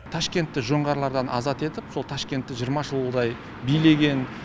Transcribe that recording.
ташкентті жоңғарлардан азат етіп сол ташкентті жиырма жылғыдай билеген